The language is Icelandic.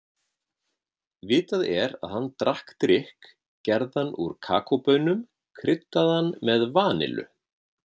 Vitað er að hann drakk drykk gerðan úr kakóbaunum, kryddaðan með vanillu.